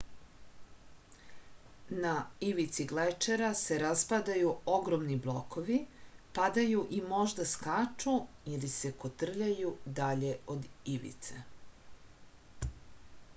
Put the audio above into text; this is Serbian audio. na ivici glečera se raspadaju ogromni blokovi padaju i možda skaču ili se kotrljaju dalje od ivice